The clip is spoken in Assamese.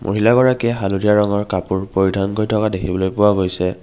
মহিলা গৰাকীয়ে হালধীয়া ৰঙৰ কাপোৰ পৰিধান কৰি থকা দেখিবলৈ পোৱা গৈছে।